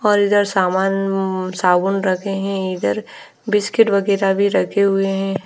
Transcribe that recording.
और इधर सामान साबुन रखे हैं इधर बिस्किट वगैरा भी रखे हुए हैं।